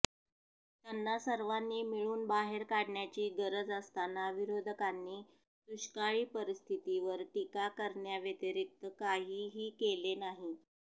त्यांना सर्वांनी मिळून बाहेर काढण्याची गरज असताना विरोधकांनी दुष्काळी परिस्थितीवर टीका करण्याव्यतिरिक्त काहीही केले नाही